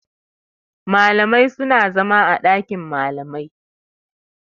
Malamai suna zama a ɗakin Malama.